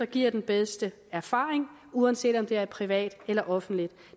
giver den bedste erfaring uanset om det er i privat eller offentligt